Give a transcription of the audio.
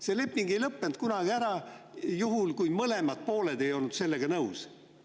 See leping ei lõppenud kunagi ära, juhul kui mõlemad pooled ei olnud sellega nõus.